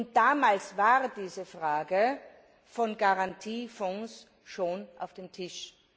Und damals war die Frage von Garantiefonds schon auf dem Tisch.